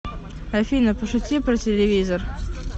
афина пошути про телевизор